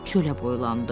Çölə boylandı.